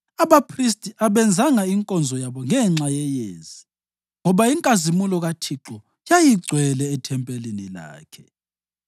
Abaphristi abenzanga inkonzo yabo ngenxa yeyezi, ngoba inkazimulo kaThixo yayigcwele ethempelini lakhe.